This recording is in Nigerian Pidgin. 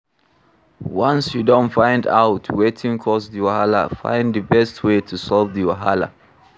Once you don find out wetin cause di wahala, find di best wey to solve the wahala